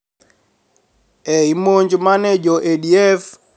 E I monj ma ne jo ADF